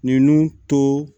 Ninnu to